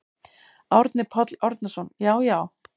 Árni Páll Árnason: Já já.